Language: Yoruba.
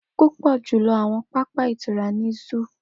Pupọ julọ awọn papa itura ni zoo.